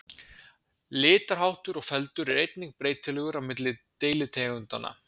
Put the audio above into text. Litarháttur og feldur er einnig breytilegur á milli deilitegundanna.